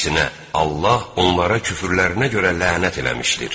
Əksinə, Allah onlara küfrlərinə görə lənət eləmişdir.